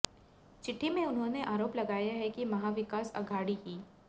चिठ्ठी में उन्होंने आरोप लगाया है कि महाविकास अघाड़ी की